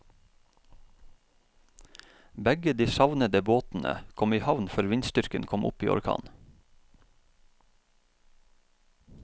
Begge de savnede båtene kom i havn før vindstyrken kom opp i orkan.